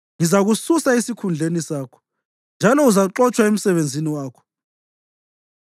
Ngizakususa esikhundleni sakho, njalo uzaxotshwa emsebenzini wakho.